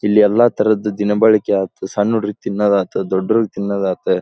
ಇಲ್ಲಿ ಎಲ್ಲ ಥರದ ದಿನಬಳಕೆ ಆತ ಸಣ್ ಹುಡುಗ್ರೀಗೆ ತಿನ್ನೋದಾತು ದೊಡ್ಡೋರಿಗ್ ತಿನ್ನೋದಾತು--